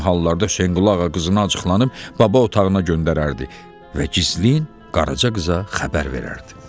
Bu kimi hallarda Hüseynquluğa qızını acıqlanıb baba otağına göndərərdi və gizlin Qaraça qıza xəbər verərdi.